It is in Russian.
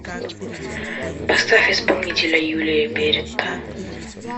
поставь исполнителя юлия беретта